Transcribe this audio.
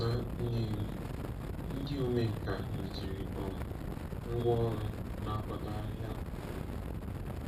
Na Nnewi, ndị omenkà rụziri um ngwá ọrụ na-akwado ahịa obodo.